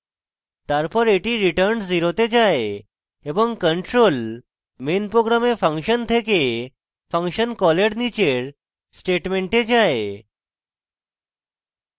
তারপর এটি return 0 then যায় এবং control main program function then function কলের নীচের statement যায়